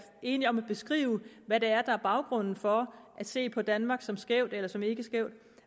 enige om at beskrive hvad det er der er baggrunden for at se på danmark som skævt eller som ikkeskævt